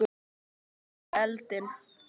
Úr öskunni í eldinn